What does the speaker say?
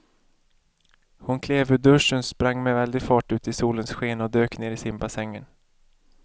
Hon klev ur duschen, sprang med väldig fart ut i solens sken och dök ner i simbassängen.